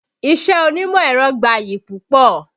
Iṣẹ́ onímọ̀ ẹ̀rọ gbayì púpọ̀